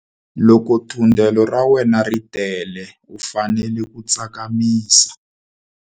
Loko thundelo ra wena ri tele u fanele ku tsakamisa.